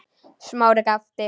Smári gapti.